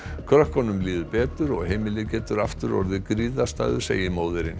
krökkunum líður betur og heimilið getur aftur orðið griðarstaður segir móðirin